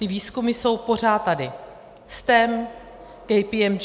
Ty výzkumy jsou pořád tady - STEM, KPMG.